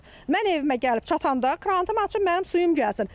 Mən evimə gəlib çatanda krantımı açıb mənim suyum gəlsin.